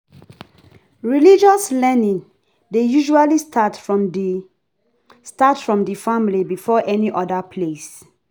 Religious learning dey usually start from di start from di family before any oda place